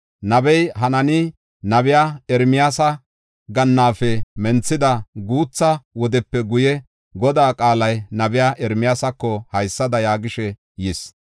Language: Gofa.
Nabey Hanaani, nabiya Ermiyaasa gannaafe menthida guutha wodepe guye, Godaa qaalay nabiya Ermiyaasako haysada yaagishe yis.